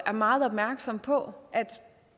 meget opmærksomme på at